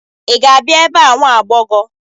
Ị ga-abịa ebe a, nwa agbọghọ!